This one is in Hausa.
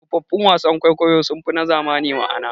Tsofaffin wasan kwaikwayo sunfi na zamani ma'ana.